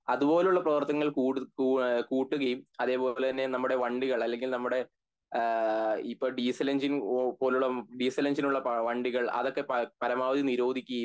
അതുപോലുള്ള പ്രവർത്തനങ്ങൾ കൂട കൂവ എഹ് കൂട്ടുകയും അതേപോലെ തന്നെ നമ്മുടെ വണ്ടികൾ അല്ലെങ്കിൽ നമ്മുടെ ഏഹ് ഇപ്പൊ ഡീസൽ എങ്ങിനെ പോലെ ഉള്ള ഡീസൽ എൻജിന് ഉള്ള വണ്ടികൾ പര പരമാവധി നിരോധിക്കേം